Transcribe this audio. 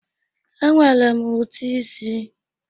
E nwere m ụti ịsị.